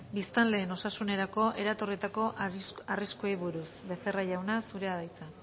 biztanleen osasunerako eratorritako arriskuei buruz becerra jauna zurea da hitza